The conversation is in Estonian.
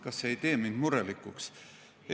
Kas see ei tee mind murelikuks?